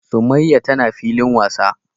summaiya tana filin wasa.